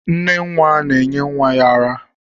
Nne nwa na-enye nwa ya ara